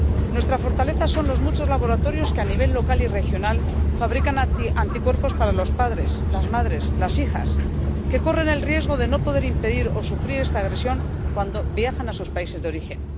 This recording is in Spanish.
Nuestra fortaleza son los muchos laboratorios que a nivel local y regional fabrican anticuerpos para los padres, las madres, las hijas, que corren el riesgo de no poder impedir o sufrir esta agresión cuando viajan a sus países de origen.